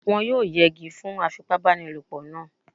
Wọ́n yóò yẹgi fún afipábanílòpọ̀ náà